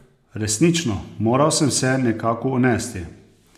Resnično, moral sem se nekako unesti!